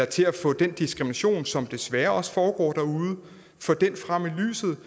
til at få den diskrimination som desværre også foregår derude frem i lyset